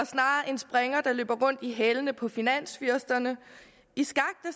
snarere en springer der løber rundt i hælene på finansfyrsterne i skak